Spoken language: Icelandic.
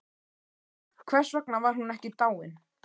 Hvers vegna var hún ekki dáin?